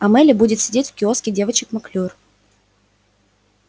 а мелли будет сидеть в киоске девочек маклюр